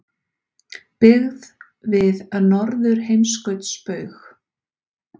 Byggð við Norðurheimskautsbaug.